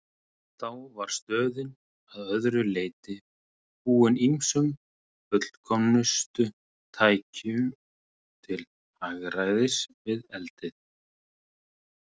Þá var stöðin að öðru leyti búin ýmsum fullkomnustu tækjum til hagræðis við eldið.